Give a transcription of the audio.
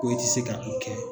Ko e te se ka wifi kɛ